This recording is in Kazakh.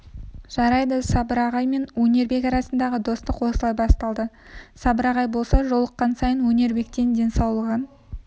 жарайды сабыр ағай мен өнербек арасындағы достық осылай басталды сабыр ағай болса жолыққан сайын өнербектен денсаулығын